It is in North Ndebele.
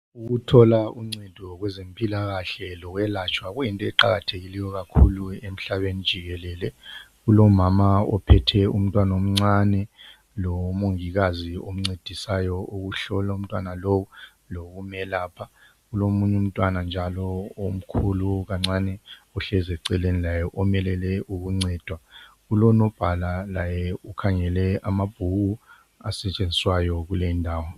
Ukuthola uncedo kwezempilakahle lokwelatshwa kuyinto eqakathekileyo kakhulu emhlabeni jikelele, kulomama ophethe umntwana omncane lomongikazi omncedisayo ukuhlola umntwana lowu, lokumelapha. Kulomunye umntwana njalo omkhulu kancane ohlezi eceleni laye omelele ukuncedwa, kulonobhala laye ukhangele amabhuku asetshenziswayo kulendawo.